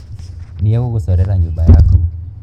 Nĩegũgũcorera nyũmba yaku.